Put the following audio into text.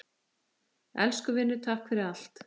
Elsku vinur, takk fyrir allt.